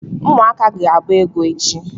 ụmụaka ga agba egwu echi?